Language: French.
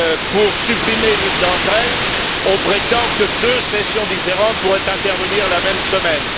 Pour supprimer l'une d'entre elles, on prétend que deux sessions différentes pourraient intervenir la même semaine.